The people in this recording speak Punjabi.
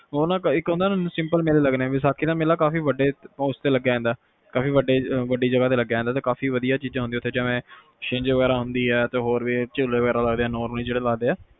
ਉਹ ਨਾ ਇੱਕ simple ਮੇਲੇ ਹੁੰਦੇ ਵੈਸਾਖੀ ਦਾ ਮੇਲਾ ਕਾਫੀ ਵੱਡੇ ਉਸ ਤੇ ਹੁੰਦਾ ਕਾਫੀ ਵੱਡੀ ਜਗਾਹ ਤੇ ਹੁੰਦਾ ਤੇ ਕਾਫੀ ਵਧੀਆ ਚੀਜ਼ਾਂ ਹੁੰਦੀਆਂ ਸ਼ਿਨਜ ਵਗੈਰਾ ਹੁੰਦੀ ਆ ਕਾਫੀ ਝੂਲੇ ਵਗੈਰਾ ਲੱਗਦੇ ਆ